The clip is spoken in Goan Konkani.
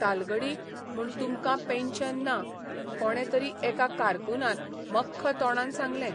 तालगडी म्हूण तुमकां पेन्शन ना कोणे तरी एका कारकुनान मख्ख तोंडान सांगलें.